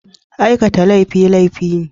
Aikata laifi, laifi ne.